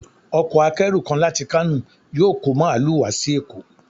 Ọkọ̀ akẹ́rù kan láti Kano yóò kọ́ Màálù wá sí Èkó.